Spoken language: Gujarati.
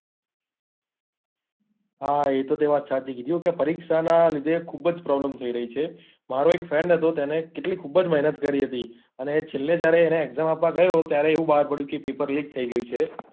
હા એ તો તે વાત સાચી કીધી હો કે પરિક્ષા નાં લીધે ખુબ જ problem થઇ રહી છે મારો એક friend હતો તને કેટલી ખુબ જ મહેનત કરી હતી અને છેલ્લે જ્યારે એને exam આપવા ગયો ત્યારે એવું બહાર પડ્યું કે પેપર like થઇ ગયું છે.